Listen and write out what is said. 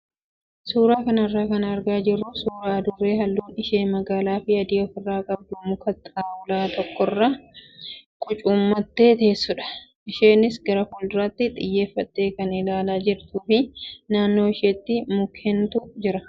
Suuraa kanarraa kan argaa jirru suuraa adurree halluun ishee magaalaa fi adii ofirraa qabdu muka xaawulaa tokkorra qucuummattee teessudha. Isheenis gara fuulduraatti xiyyeeffattee kan ilaalaa jirtuu fi naannoo ishee mukkeentu jira.